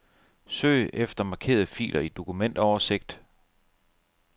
Søg efter markerede filer i dokumentoversigt.